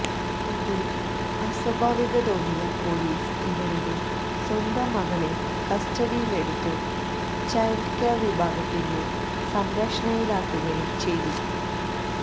ഇതില് അസ്വഭാവികത തോന്നിയ പോലീസ് ഇവരുടെ സ്വന്തം മകളെ കസ്ററഡിയിലെടുത്ത് ചൈല്ഡ് കെയര് വിഭാഗത്തിന്റെ സംരക്ഷണയിലാക്കുകയും ചെയ്തു